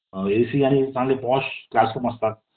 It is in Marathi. ए सि आणि चांगले पॉश क्लास रूम्स असतात